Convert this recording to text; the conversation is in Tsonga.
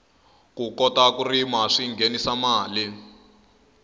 ku kota ku rima swinghenisa mali